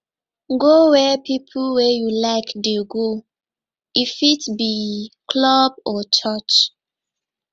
go where pipo wey you like dey go e fit be club or church